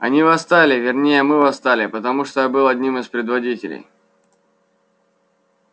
они восстали вернее мы восстали потому что я был одним из предводителей